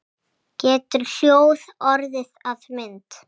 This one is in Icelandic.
Getur hljóð orðið að mynd?